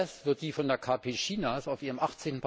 Der Kongress wird die von der KP Chinas auf ihrem